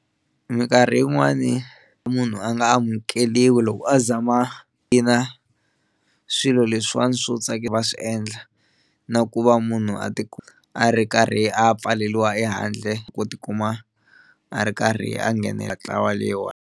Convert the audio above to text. Minkarhi yin'wani munhu a nga amukeliwi loko a zama ina swilo leswiwani swo va swi endla na ku va munhu a ti a ri karhi a pfaleliwa ehandle ku tikuma a ri karhi a nghenelela ntlawa leyiwani.